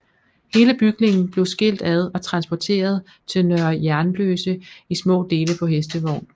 Hele bygningen blev skilt ad og transporteret til Nørre Jernløse i små dele på hestevogn